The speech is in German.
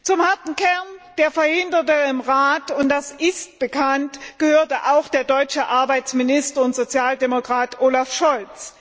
Zum harten Kern der Verhinderer im Rat und das ist bekannt gehörte auch der deutsche Arbeitsminister und Sozialdemokrat Olaf Scholz.